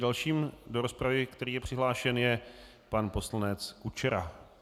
Dalším do rozpravy, který je přihlášen, je pan poslanec Kučera.